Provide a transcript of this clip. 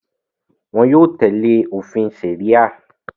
wọn yóò tẹ̀lé òfin sẹ̀ríà.